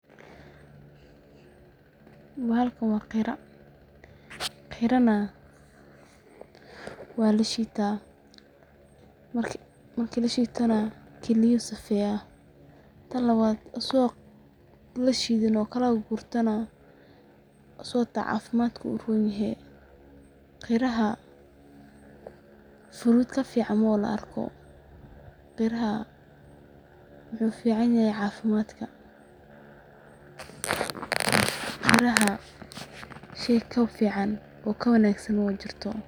Bahalkan waa qira. Qira na waa lashiita, marka lashiitana kiliya oo safiya, taan lawaad asago lashiidhini oo kalakagurtana isigo ta cafimaatka uronihe. Qiraha fruit kafican mawa laarko. Qiraha muxu ficanihay cafimatka. Qiraha sheey kafican oo kawangasan mawajirto.